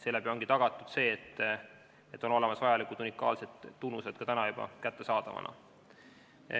Seeläbi ongi tagatud, et vajalikud unikaalsed tunnused on juba kättesaadavad.